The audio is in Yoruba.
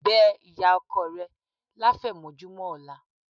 Bẹ́ ìyá ọkọ rẹ láfẹ̀mọ́júmọ́ ọ̀la